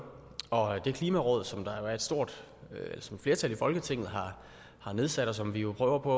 og klimarådet som et flertal i folketinget har nedsat og som vi jo prøver på